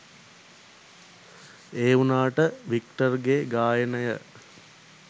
ඒ වුණාට වික්ටර්ගෙ ගායනය